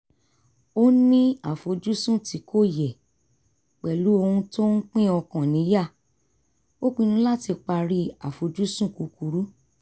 ó ní àfojúsùn tí kò yẹ̀ pẹ̀lú ohun tó ń pín ọkàn níyà ó pinnu láti parí àfojúsùn kúkurú